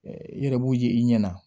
I yɛrɛ b'u ye i ɲɛna